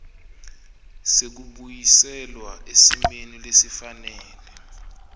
sekubuyiselwa esimeni lesifanele